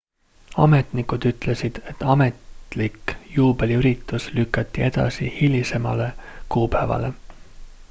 ametnikud ütlesid et ametlik juubeliüritus lükati edasi hilisemale kuupäevale